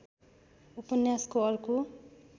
उपन्यासको अर्को